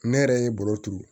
Ne yɛrɛ ye baro turu